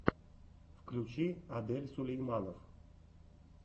включи адель сулейманов